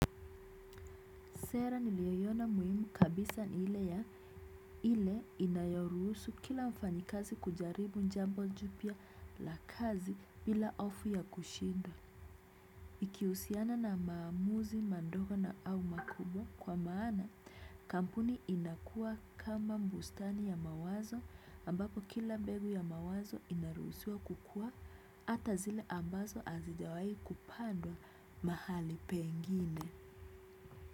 Sera niliyoiona muhimu kabisa nile ya ile inayoruhusu kila mfanyakazi kujaribu jambo jpya la kazi bila hofu ya kushindwa. Iki husiana na maamuzi madogo na au makubwa kwa maana kampuni inakua kama bustani ya mawazo ambapo kila mbegu ya mawazo inaruhusuwa kukua hata zile ambazo hazijawai kupandwa mahali pengine.